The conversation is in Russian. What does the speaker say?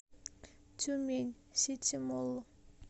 тюмень сити молл